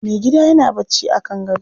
Mai gida yana barci a kan gado.